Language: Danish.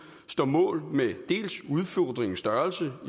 står mål med dels udfordringens størrelse